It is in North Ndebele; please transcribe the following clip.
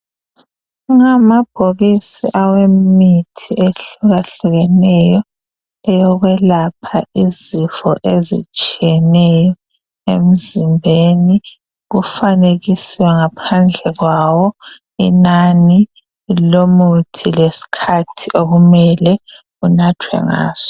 Ngamabhokisi awemithi ehluka hlukeneyo eyokwelapha izifo ezitshiyeneyo emzimbeni kufanekiswe ngaphandle kwawo inani lomuthi lesikhathi okumele unathe ngaso.